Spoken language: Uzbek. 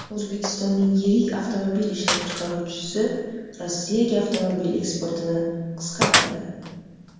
O‘zbekistonning yirik avtomobil ishlab chiqaruvchisi Rossiyaga avtomobil eksportini qisqartirdi.